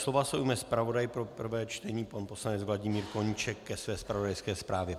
Slova se ujme zpravodaj pro prvé čtení pan poslanec Vladimír Koníček ke své zpravodajské zprávě.